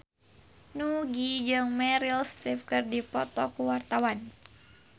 Nugie jeung Meryl Streep keur dipoto ku wartawan